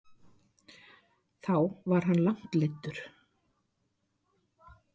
Þá var hann langt leiddur.